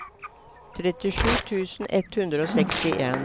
trettisju tusen ett hundre og sekstien